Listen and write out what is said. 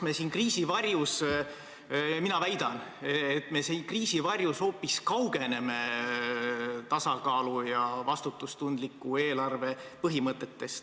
Mina väidan, et kriisi varjus me hoopis kaugeneme tasakaalu ja vastutustundliku eelarve põhimõtetest.